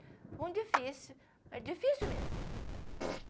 Foi difícil, mas difícil mesmo.